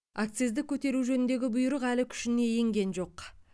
акцизді көтеру жөніндегі бұйрық әлі күшіне енген жоқ